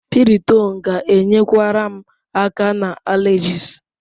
Piriton ga-enyekwara m aka na allergies.